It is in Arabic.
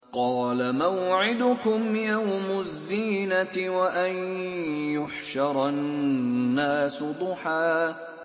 قَالَ مَوْعِدُكُمْ يَوْمُ الزِّينَةِ وَأَن يُحْشَرَ النَّاسُ ضُحًى